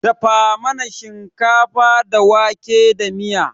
Dafa mana shinkafa da wake da miya.